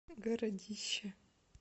городища